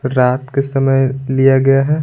रात के समय लिया गया है।